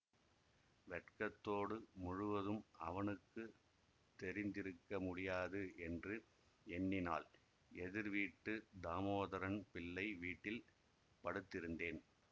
வெட்கத்தோடு முழுவதும் அவனுக்கு தெரிந்திருக்க முடியாது என்று எண்ணினாள் எதிர் வீட்டு தாமோதரம் பிள்ளை வீட்டில் படுத்திருந்தேன்